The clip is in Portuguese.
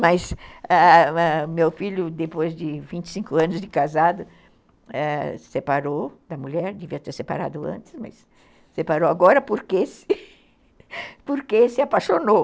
Mas ãh meu filho, depois de vinte e cinco anos de casado, separou da mulher, devia ter separado antes, mas separou agora porque se apaixonou.